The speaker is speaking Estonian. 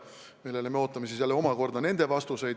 Ja nendele me ootame siis jälle omakorda nende vastuseid.